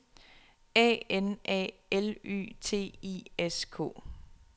A N A L Y T I S K